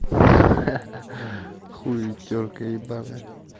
ха-ха хули тёрка ебаная